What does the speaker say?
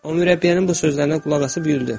O mürəbbiyənin bu sözlərinə qulaq asıb güldü.